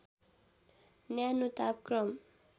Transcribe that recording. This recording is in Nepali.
न्यानो तापक्रम